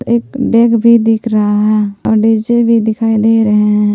एक डेग़ भी दिख रहा है और डी_जे भी दिखाई दे रहे हैं।